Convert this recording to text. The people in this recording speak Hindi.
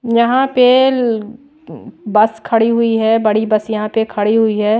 यहां पे बस खड़ी हुई है बड़ी बस यहां पे खड़ी हुई है।